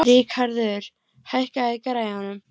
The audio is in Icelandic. Ríkarður, hækkaðu í græjunum.